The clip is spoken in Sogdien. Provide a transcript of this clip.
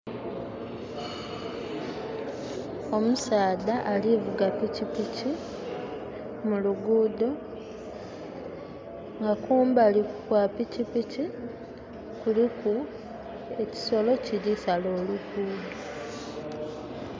Omusaadha ali vuga pikpiki mu luguudo, nga kumbali kwa pikipiki kuliku ekisolo kiri sala oluguudo